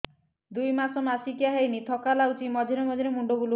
ଦୁଇ ମାସ ମାସିକିଆ ହେଇନି ଥକା ଲାଗୁଚି ମଝିରେ ମଝିରେ ମୁଣ୍ଡ ବୁଲୁଛି